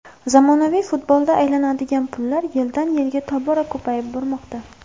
Zamonaviy futbolda aylanadigan pullar yildan yilga tobora ko‘payib bormoqda.